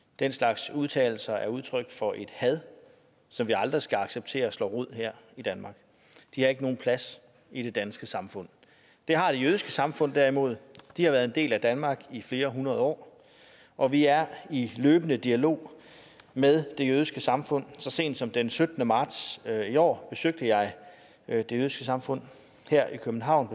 den slags udtalelser er udtryk for et had som vi aldrig skal acceptere slår rod her i danmark de har ikke nogen plads i det danske samfund det har det jødiske samfund derimod de har været en del af danmark i flere hundrede år og vi er i løbende dialog med det jødiske samfund så sent som den syttende marts i år besøgte jeg det jødiske samfund her i københavn